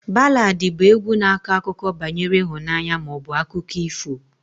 Baladị bụ égwu na-akọ akụkọ banyere ịhụnanya ma ọ bụ akụkọ ifo